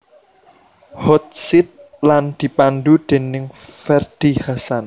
Hot Seat lan dipandhu déning Ferdy Hassan